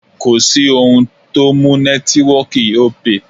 Kò sí ohun tó mú nẹ́tíwọọ̀kì Opay.